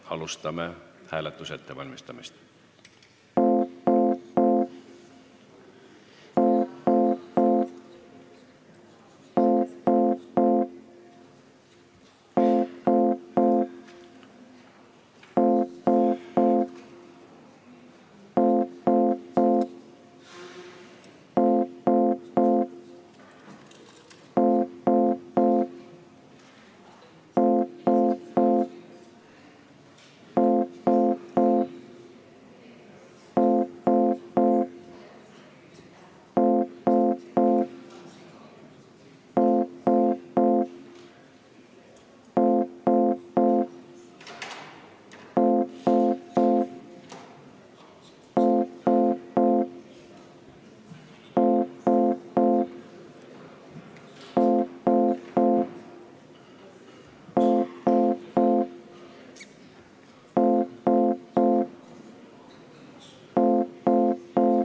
Me alustame hääletuse ettevalmistamist.